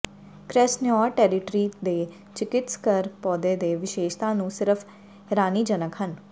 ਕ੍ਰੈਸ੍ਨਾਯਾਰ territory ਦੇ ਚਿਕਿਤਸਕ ਪੌਦੇ ਦੇ ਵਿਸ਼ੇਸ਼ਤਾ ਨੂੰ ਸਿਰਫ਼ ਹੈਰਾਨੀਜਨਕ ਹਨ